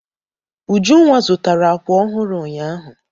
Ujunwa zụtara àkwà ọhụrụ ụnyaahụ.